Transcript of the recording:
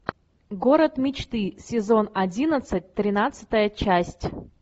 город мечты сезон одиннадцать тринадцатая часть